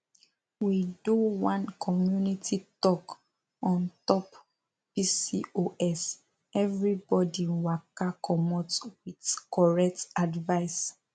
we do one community talk on top pcoseverybody waka commot with correct advice